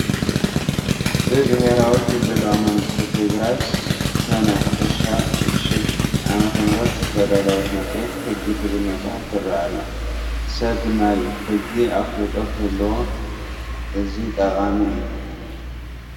ብብሄራዊ ክልላዊ መንግስቲ ትግራይ ሰነ 2006 ዓም ዝተዳለወት መፅሄተ ሕጊ ትብል መፅሓፍ ትርአ ኣላ፡፡ ሰብ ናይ ሕጊ ኣፍልጦ ክህልዎ እዚ ጠቓሚ እዩ፡፡